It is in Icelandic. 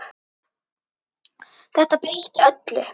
Þetta breytti öllu.